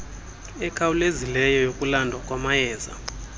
ekhawulezileyo yokulandwa kwamayeza